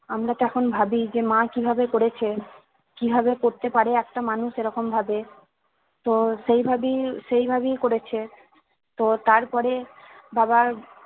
আমরা তো এখন ভাবি যে মা কিভাবে করেছে কি ভাবে করতে পারে একটা মানুষ এরকম ভাবে তো সেভাবেই সেভাবেই করেছে তো তারপরে বাবার